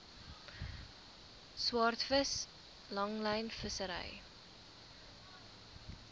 swaardvis langlyn vissery